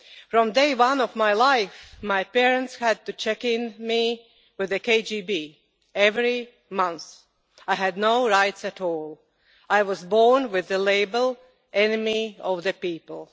From day one of my life, my parents had to check me in with the KGB every month. I had no rights at all. I was born with the label enemy of the people'.